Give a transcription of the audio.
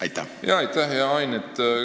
Aitäh, hea Ain!